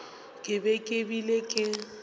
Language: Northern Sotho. ke be ke bile ke